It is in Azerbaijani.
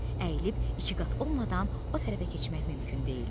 əyilib ikiqat olmadan o tərəfə keçmək mümkün deyildi.